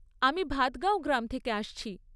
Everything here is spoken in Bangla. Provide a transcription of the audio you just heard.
আমি ভাদগাঁও গ্রাম থেকে আসছি।